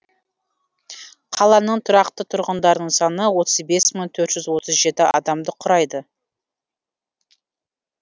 қаланың тұрақты тұрғындарының саны отыз бес мың төрт жүз отыз жеті адамды құрайды